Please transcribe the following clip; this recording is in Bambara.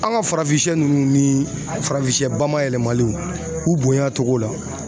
An ka farafin siyɛ nunnu ni farafin siyɛ bamayɛlɛmalenw u bonya togo la